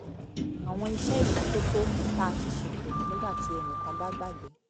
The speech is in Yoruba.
àwọn iṣẹ́ ìmọ́tótó tá a ti ṣètò nígbà tí ẹnì kan bá gbàgbé